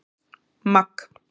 Magg